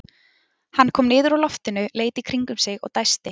Hann kom niður úr loftinu, leit í kringum sig og dæsti.